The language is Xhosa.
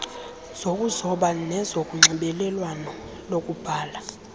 zokuzoba nezonxibelelwano lokubhala